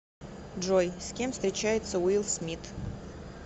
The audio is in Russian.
джой с кем встречается уилл смит